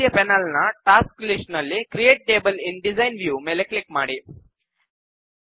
ಬಲಬದಿಯ ಪೆನಲ್ ನ task list ನಲ್ಲಿ create table in design view ಮೇಲೆ ಕ್ಲಿಕ್ ಮಾಡಿ